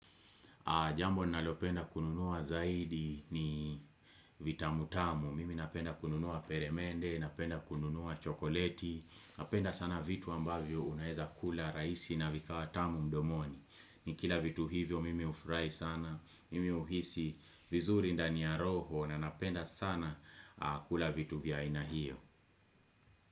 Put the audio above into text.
Jambo nalopenda kununua zaidi ni vitamu tamu. Mimi napenda kununua peremende, napenda kununua chokoleti. Napenda sana vitu ambavyo unaeza kula rahisi na vifaaa wa tamu mdomoni. Ni kila vitu hivyo mimi hufurahi sana, mimi huhisi vizuri ndani ya roho na napenda sana kula vitu vya aina hiyo.